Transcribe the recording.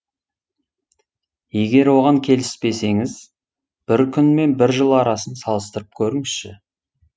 егер оған келіспесеңіз бір күн мен бір жыл арасын салыстырып көріңізші